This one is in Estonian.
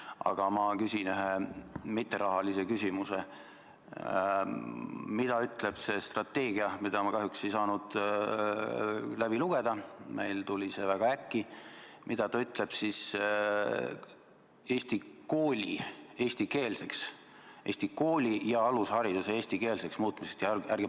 Aga ma küsin ühe rahasse mittepuutuva küsimuse: mida ütleb see strateegia, mida ma kahjuks ei saanud läbi lugeda – see tuli meile väga äkki –, Eesti kooli ja alushariduse eestikeelseks muutmise kohta?